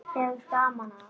Hefur gaman af.